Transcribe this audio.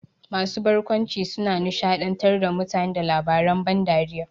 Masu barkwanci na nishaɗantar da mutane da labaren ban dariya.